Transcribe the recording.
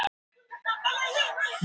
Yfirtöku lokið á Eik banka